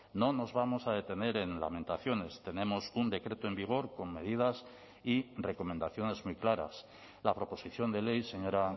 no nos vamos a detener en lamentaciones tenemos un decreto en vigor con medidas y recomendaciones muy claras la proposición de ley señora